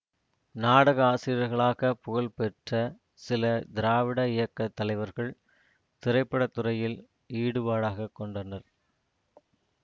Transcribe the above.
நாடக ஆசிரியர்களாக புகழ்ப் பெற்ற சில திராவிட இயக்க தலைவர்கள் திரைப்பட துறையில் ஈடுபாடாகக் கொண்டனர்